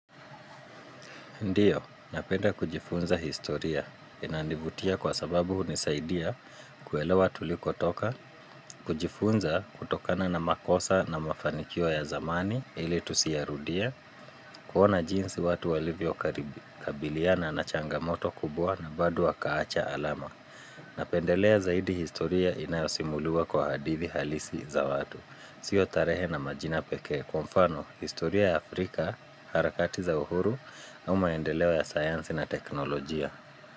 Ndiyo, napenda kujifunza historia. Inanivutia kwa sababu hunisaidia kuelewa tu likotoka, kujifunza kutokana na makosa na mafanikio ya zamani ili tusiyarudie, kuona jinsi watu walivyo kabiliana na changamoto kubwa na bado wakaacha alama. Na pendelea zaidi historia inayosimuliwa kwa hadithi halisi za watu. Sio tarehe na majina peke kwamfano historia ya Afrika, harakati za uhuru, na maendeleo ya sayansi na teknolojia.